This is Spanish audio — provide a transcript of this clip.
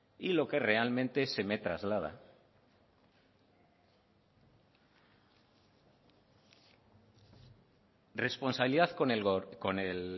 y lo que realmente se me traslada responsabilidad con el